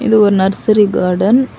இது ஒரு nursery garden .